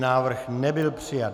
Návrh nebyl přijat.